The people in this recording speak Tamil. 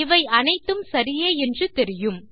இவை அனைத்தும் சரியே என்று தெரியும்